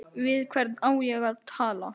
Við hvern á ég að tala?